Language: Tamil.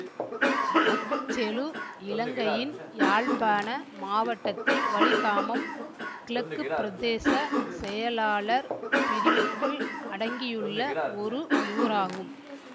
அச்செழு இலங்கையின் யாழ்ப்பாண மாவட்டத்தில் வலிகாமம் கிழக்கு பிரதேச செயலாளர் பிரிவுக்குள் அடங்கியுள்ள ஒரு ஊராகும்